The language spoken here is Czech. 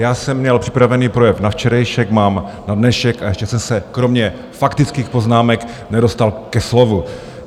Já jsem měl připravený projev na včerejšek, mám na dnešek a ještě jsem se kromě faktických poznámek nedostal ke slovu.